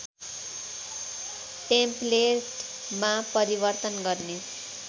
टेम्पलेटमा परिवर्तन गर्ने